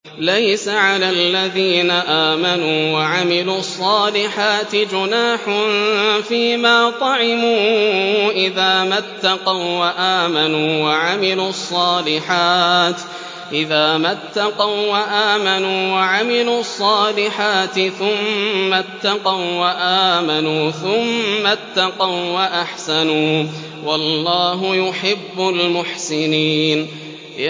لَيْسَ عَلَى الَّذِينَ آمَنُوا وَعَمِلُوا الصَّالِحَاتِ جُنَاحٌ فِيمَا طَعِمُوا إِذَا مَا اتَّقَوا وَّآمَنُوا وَعَمِلُوا الصَّالِحَاتِ ثُمَّ اتَّقَوا وَّآمَنُوا ثُمَّ اتَّقَوا وَّأَحْسَنُوا ۗ وَاللَّهُ يُحِبُّ الْمُحْسِنِينَ